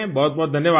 बहुत बहुत धन्यवाद